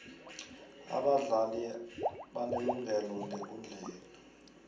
abadlali banelungelo ngekundleni